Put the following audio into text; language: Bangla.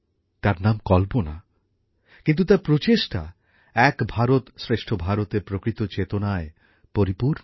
তার নাম কল্পনা কিন্তু তার প্রচেষ্টা এক ভারত শ্রেষ্ঠ ভারতএর প্রকৃত চেতনায় পরিপূর্ণ